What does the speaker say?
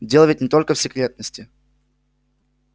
дело ведь не только в секретности